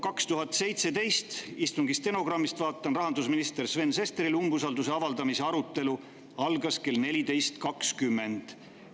2017. aastal – istungi stenogrammist vaatan – algas rahandusminister Sven Sesterile umbusalduse avaldamise arutelu kell 14.20.